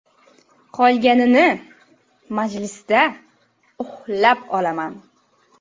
Qolganini majlisda uxlab olaman.